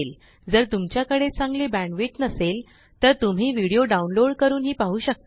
जर तुमच्याकडे चांगली बेंडविड्थ नसेल तर तुम्ही विडिओ डाउनलोड करूनही पाहु शकता